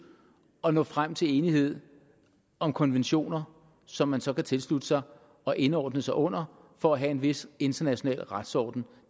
og nå frem til enighed om konventioner som man så kan tilslutte sig og indordne sig under for at have en vis international retsorden